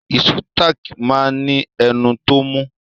Ìṣó táàkì máa ní ẹnu tó mú.